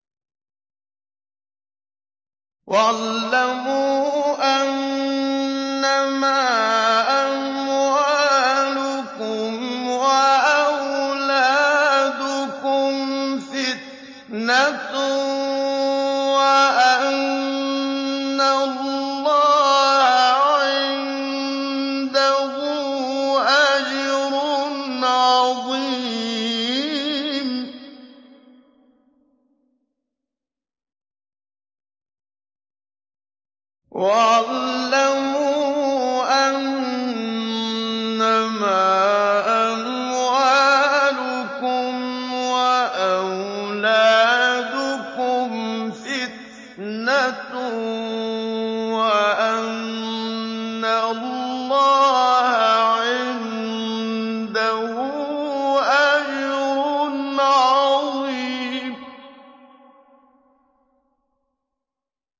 وَاعْلَمُوا أَنَّمَا أَمْوَالُكُمْ وَأَوْلَادُكُمْ فِتْنَةٌ وَأَنَّ اللَّهَ عِندَهُ أَجْرٌ عَظِيمٌ